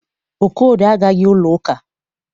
Okorie agaghị ụlọ ụka.